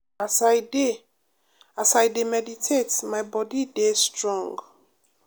as i dey as i dey meditate my body dey strong.